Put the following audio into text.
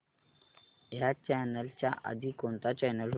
ह्या चॅनल च्या आधी कोणता चॅनल होता